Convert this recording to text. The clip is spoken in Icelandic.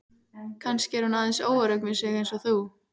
Kannski er hún aðeins óörugg með sig eins og þú.